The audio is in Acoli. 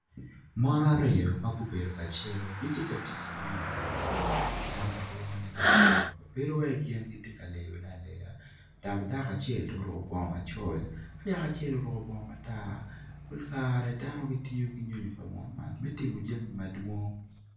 Mon ariyo ma gubedo kacelo giti ka tic ki nyonyo pa munu ma kilwongo ni laptop bedowai gin giti ka leyone aleya dak dako acel oruku bongo macol ki yaku acel oruku bongo matar pol kare dano gitiyo ki nyonyo pa munu man me timo jami madwong